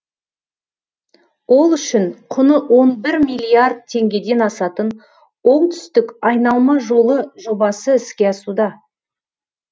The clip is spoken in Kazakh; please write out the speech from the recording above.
ол үшін құны он бір миллиард теңгеден асатын оңтүстік айналма жолы жобасы іске асуда